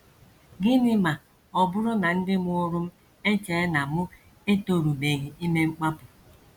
Gịnị Ma Ọ Bụrụ na Ndị Mụrụ M Echee na Mụ Etorubeghị Ime Mkpapụ? ”